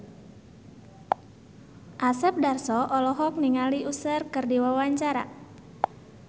Asep Darso olohok ningali Usher keur diwawancara